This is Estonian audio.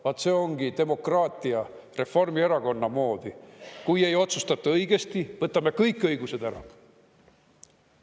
Vaat see ongi demokraatia Reformierakonna moodi: kui ei otsustata õigesti, võtame kõik õigused ära.